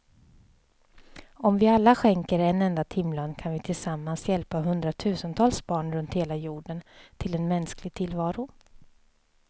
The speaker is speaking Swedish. Om vi alla skänker en enda timlön kan vi tillsammans hjälpa hundratusentals barn runt hela jorden till en mänsklig tillvaro.